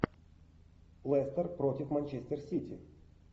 лестер против манчестер сити